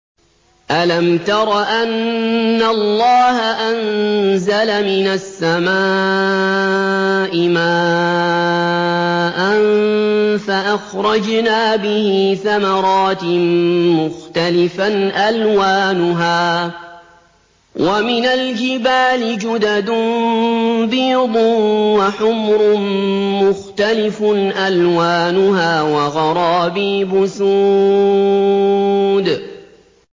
أَلَمْ تَرَ أَنَّ اللَّهَ أَنزَلَ مِنَ السَّمَاءِ مَاءً فَأَخْرَجْنَا بِهِ ثَمَرَاتٍ مُّخْتَلِفًا أَلْوَانُهَا ۚ وَمِنَ الْجِبَالِ جُدَدٌ بِيضٌ وَحُمْرٌ مُّخْتَلِفٌ أَلْوَانُهَا وَغَرَابِيبُ سُودٌ